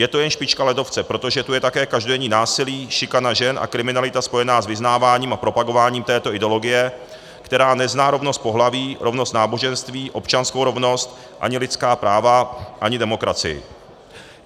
Je to jen špička ledovce, protože tu je také každodenní násilí, šikana žen a kriminalita spojená s vyznáváním a propagováním této ideologie, která nezná rovnost pohlaví, rovnost náboženství, občanskou rovnost, ani lidská práva, ani demokracii.